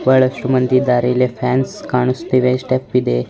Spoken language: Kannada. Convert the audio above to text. ಬಹಳಷ್ಟು ಮಂದಿ ಇದ್ದಾರೆ ಫ್ಯಾನ್ಸ್ ಕಾಣ್ತಾ ಇದೆ ಸ್ಟೆಪ್ಸ್ ಇದೆ.